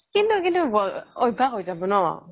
কিন্তু কিন্তু অভ্য়াস হৈ যাব ন'